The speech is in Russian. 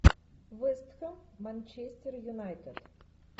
вест хэм манчестер юнайтед